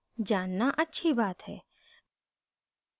जानना अच्छी बात है